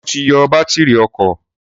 Sọ ti yọ bátírì ọkọ̀?